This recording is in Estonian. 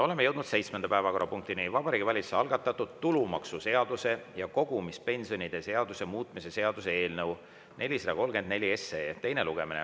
Oleme jõudnud seitsmenda päevakorrapunktini: Vabariigi Valitsuse algatatud tulumaksuseaduse ja kogumispensionide seaduse muutmise seaduse eelnõu 434 teine lugemine.